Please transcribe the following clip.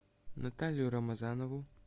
наталью рамазанову